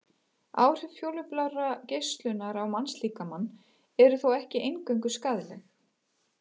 Áhrif útfjólublárrar geislunar á mannslíkamann eru þó ekki eingöngu skaðleg.